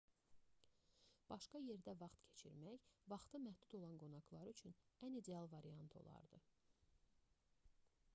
başqa yerdə vaxt keçirmək vaxtı məhdud olan qonaqlar üçün ən ideal variant olardı